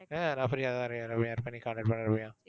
ஆஹ் நான் free ஆ தான் இருக்கேன் ரம்யா எப்போ நீ contact பண்ணு ரம்யா.